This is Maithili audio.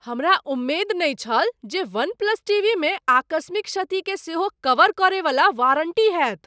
हमरा उम्मेद नहि छल जे वन प्लस टीवीमे आकस्मिक क्षतिकेँ सेहो कवर करयवला वारन्टी होयत।